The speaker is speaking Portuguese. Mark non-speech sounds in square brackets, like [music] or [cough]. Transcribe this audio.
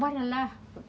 [unintelligible] lá.